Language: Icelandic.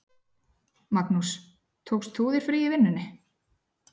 Magnús: Tókst þú þér frí í vinnunni?